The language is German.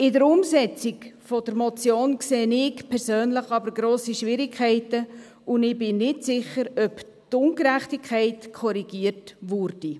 In der Umsetzung der Motion sehe ich persönlich aber grosse Schwierigkeiten, und ich bin nicht sicher, ob die Ungerechtigkeit korrigiert würde.